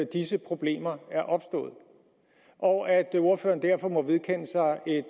disse problemer er opstået og at ordføreren derfor må vedkende sig et